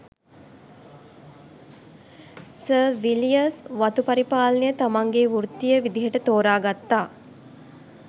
sir Villiers වතු පරිපාලනය තමන්ගේ වෘත්තීය විදිහට තෝරගත්තා